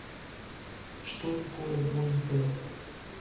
что такое бойс бенд